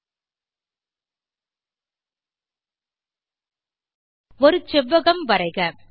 பயிற்சியாக ஒரு செவ்வகம் வரைக